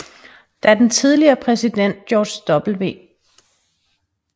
Da den tidligere præsident George W